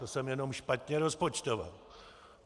To jsem jenom špatně rozpočtoval.